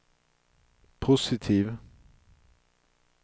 positiv